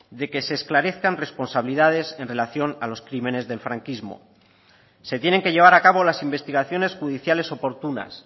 de que se esclarezcan responsabilidades en relación a los crímenes del franquismo se tienen que llevar a cabo las investigaciones judiciales oportunas